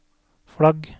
flagg